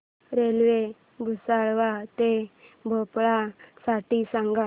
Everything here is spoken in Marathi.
रेल्वे भुसावळ ते भोपाळ साठी सांगा